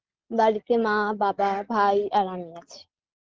বাড়িতে মা বাবা ভাই আর আমি আছি